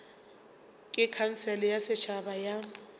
ke khansele ya setšhaba ya